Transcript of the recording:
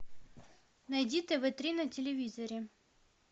найди тв три на телевизоре